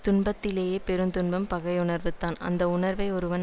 துன்பத்திலேயே பெருந்துன்பம் பகையுணர்வுதான் அந்த உணர்வை ஒருவன்